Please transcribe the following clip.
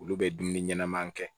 Olu bɛ dumuni ɲɛnɛman kɛ